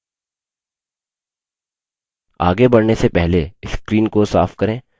आगे बढ़ने से पहले screen को साफ करें